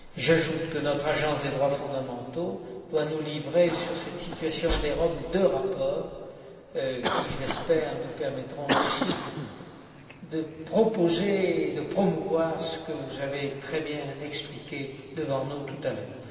J'ajoute que notre Agence des droits fondamentaux doit nous livrer sur cette situation des Roms deux rapports qui, je l'espère, nous permettront aussi de proposer et de promouvoir ce que vous avez très bien expliqué devant nous, tout à l'heure.